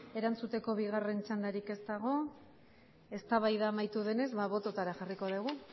erantzuteko bigarren txandarik ez dago eztabaida amaitu denez bototara jarriko dugu